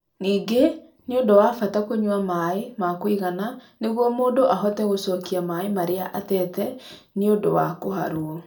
Ningĩ nĩ ũndũ wa bata kũnyua maĩ ma kũigana nĩguo mũndũ ahote gũcokia maĩ marĩa atete nĩ ũndũ wa kũharũo.